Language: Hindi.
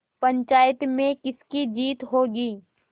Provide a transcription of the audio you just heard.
पंचायत में किसकी जीत होगी